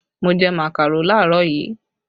Mo jẹ màkàró làárọ̀ yìí